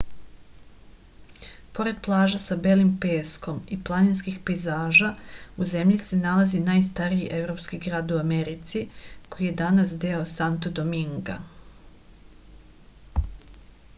pored plaža sa belim peskom i planinskih pejzaža u zemlji se nalazi najstariji evropski grad u americi koji je danas deo santo dominga